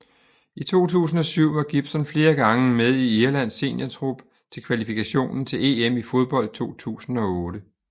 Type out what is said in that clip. I 2007 var Gibson flere gange med i Irlands seniortrup til kvalifikationen til EM i fodbold 2008